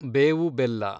ಬೇವು ಬೆಲ್ಲ